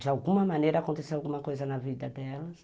De alguma maneira aconteceu alguma coisa na vida delas.